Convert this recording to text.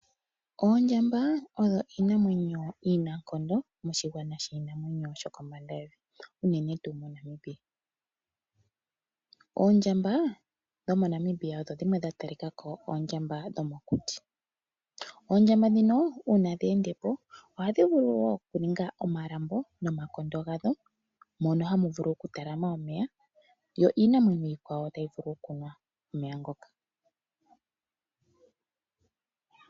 Oondjamba odho iinamwenyo iinankondo moshigwana shiinanwenyo shokombanda yevi unene tuu moNamibia. Oondjamba dhomoNamibia odho dhimwe dha talikako oondjamba dhomokuti . Oondjamba ndhino uuna dhe endepo oha dhi vulu woo okuninga omalambo nomakondo gadho mono ha mu vulu oku talama omeya yo iinamwenyo iikwawo ta yi vulu okunwa omeya ngoka.